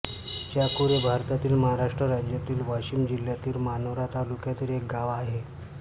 चाकुर हे भारतातील महाराष्ट्र राज्यातील वाशिम जिल्ह्यातील मानोरा तालुक्यातील एक गाव आहे